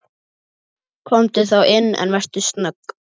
Komdu þá inn, en vertu snögg.